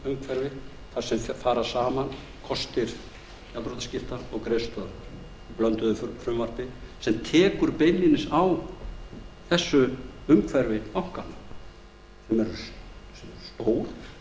lagaumhverfi þar sem fara saman kostir gjaldþrotaskipta og greiðslustöðvunar í blönduðu frumvarpi sem tekur beinlínis á þessu umhverfi bankanna sem eru stór